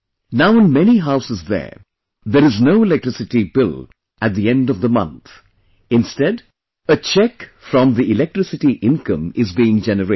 Now in many houses there, there is no electricity bill at the end of the month; instead, a check from the electricity income is being generated